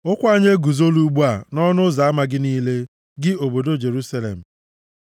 Ụkwụ anyị eguzola ugbu a nʼọnụ ụzọ ama gị niile, gị obodo Jerusalem.